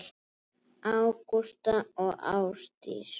Ágústa og Ásdís.